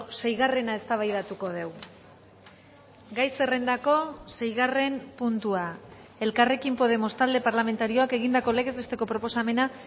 seigarrena eztabaidatuko dugu gai zerrendako seigarren puntua elkarrekin podemos talde parlamentarioak egindako legez besteko proposamena